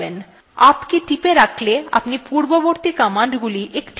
up key টিপে রাখলে আপনি পূর্ববর্তী commandsগুলি একটির পর আরেকটি দেখতে পাবেন